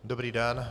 Dobrý den.